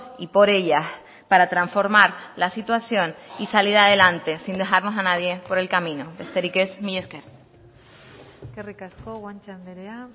y por ellas para transformar la situación y salir adelante sin dejarnos a nadie por el camino besterik ez mila esker eskerrik asko guanche andrea